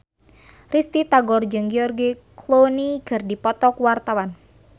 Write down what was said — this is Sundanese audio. Risty Tagor jeung George Clooney keur dipoto ku wartawan